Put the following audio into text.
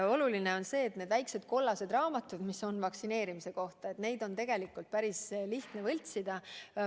Oluline on see, et need väiksed kollased raamatud, mis näitavad vaktsineerimisi – neid on tegelikult päris lihtne võltsida.